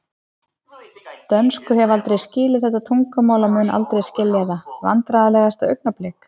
Dönsku hef aldrei skilið þetta tungumál og mun aldrei skilja það Vandræðalegasta augnablik?